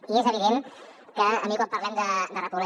i és evident que a mi quan parlem de repoblar